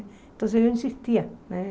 Então, eu insistia, né?